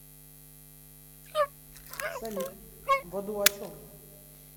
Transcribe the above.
салют в аду о чем